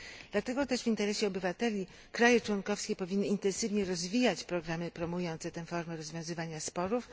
Dlatego też w interesie obywateli kraje członkowskie powinny intensywnie rozwijać programy promujące tę formę rozwiązywania sporów.